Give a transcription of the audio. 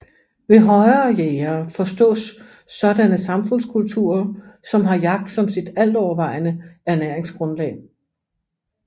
Ved højere jægere forstås sådanne samfundskulturer som har jagt som sit altovervejende ernæringsgrundlag